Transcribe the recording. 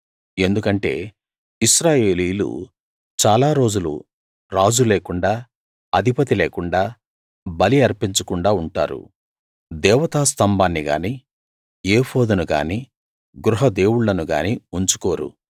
ఎందుకంటే ఇశ్రాయేలీయులు చాలా రోజులు రాజు లేకుండా అధిపతి లేకుండా బలి అర్పించకుండా ఉంటారు దేవతా స్తంభాన్ని గాని ఏఫోదును గాని గృహ దేవుళ్ళను గాని ఉంచుకోరు